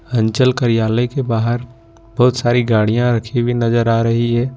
अंचल कार्यालय के बाहर बहुत सारी गाड़ियां रखी हुई नजर आ रही है।